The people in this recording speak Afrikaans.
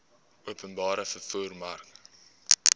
openbare vervoer mark